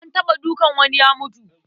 An taɓa dukan wani ya mutu.